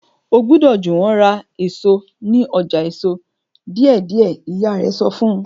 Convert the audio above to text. o gbódò Juwon rà èso ní ọjà èso deidei ìyá rè sọ fún